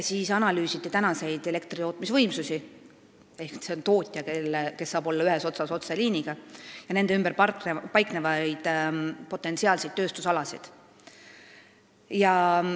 Analüüsiti praegusi elektritootmisvõimsusi: tootjaid, kes saavad olla otseliini ühes otsas, ja nende ümber paiknevaid potentsiaalseid tööstusalasid.